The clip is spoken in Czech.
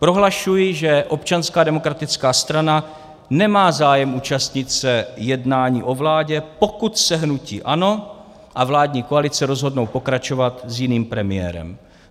Prohlašuji, že Občanská demokratická strana nemá zájem účastnit se jednání o vládě, pokud se hnutí ANO a vládní koalice rozhodnou pokračovat s jiným premiérem.